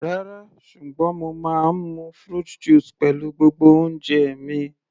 Rárá, ṣùgbọ́n mo máa ń mu fruit juice pẹ̀lú gbogbo oúnjẹ mi.